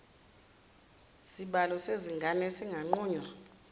sibalo sezingane esinganqunywa